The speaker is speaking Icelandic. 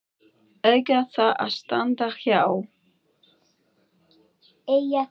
eiga þar að standa hjá.